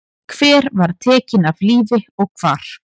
Hver var tekin af lífi og hvar?